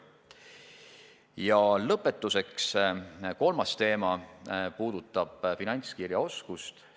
Ja lõpetuseks, kolmas teema puudutab finantskirjaoskust.